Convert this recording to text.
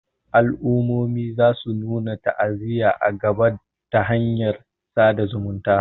al'ummomin za su nuna ta'aziyya a nan gaba ta hanyar sada zumunta